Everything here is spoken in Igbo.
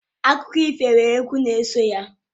Akụkọ ifo nwere egwu n'eso ya.